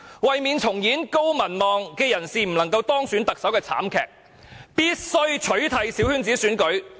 為免重演高民望人士不能夠當選特首的慘劇，必須取締小圈子選舉。